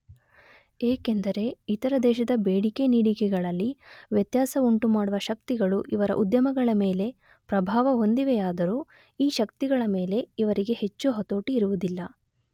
ಏಕೆಂದರೆ ಇತರ ದೇಶದ ಬೇಡಿಕೆ, ನೀಡಿಕೆಗಳಲ್ಲಿ ವ್ಯತ್ಯಾಸವುಂಟುಮಾಡುವ ಶಕ್ತಿಗಳು ಇವರ ಉದ್ಯಮಗಳ ಮೇಲೆ ಪ್ರಭಾವ ಹೊಂದಿವೆಯಾದರೂ ಈ ಶಕ್ತಿಗಳ ಮೇಲೆ ಇವರಿಗೆ ಹೆಚ್ಚು ಹತೋಟಿ ಇರುವುದಿಲ್ಲ.